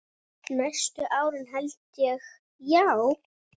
Næstu árin held ég, já.